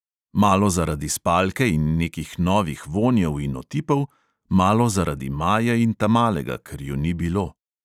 Malo zaradi spalke in nekih novih vonjev in otipov, malo zaradi maje in tamalega, ker ju ni bilo ...